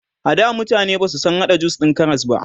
ada mutane Basu San hada jus din Karas ba